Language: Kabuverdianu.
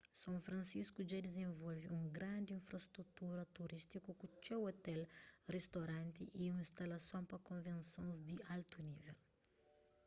são francisco dja dizenvolve un grandi infrastrutura turístiku ku txeu ôtel ristoranti y instalason pa konvensons di altu nível